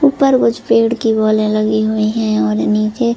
ऊपर कुछ पेड़ की बॉले लगी हुई है और नीचे --